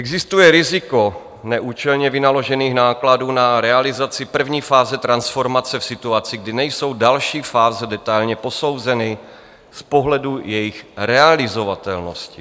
Existuje riziko neúčelně vynaložených nákladů na realizaci první fáze transformace v situaci, kdy nejsou další fáze detailně posouzeny z pohledu jejich realizovatelnosti.